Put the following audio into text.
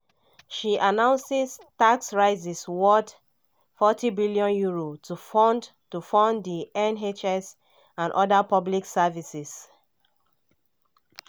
she announce tax rises worth £40bn to fund to fund di nhs and oda public services.